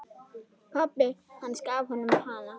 Pabbi hans gaf honum hana.